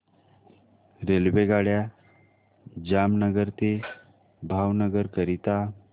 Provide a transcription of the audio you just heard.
रेल्वेगाड्या जामनगर ते भावनगर करीता